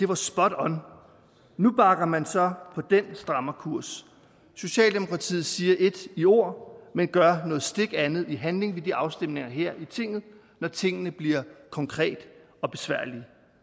var spot on nu bakker man så på den strammerkurs socialdemokratiet siger ét i ord men gør noget stik andet i handling ved de afstemninger her i tinget når tingene bliver konkrete